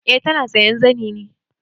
Eh ta na sayan zani ne.